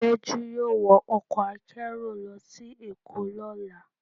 Tejú yọọ wọ ọkọ akerò lọ si Èko lọla.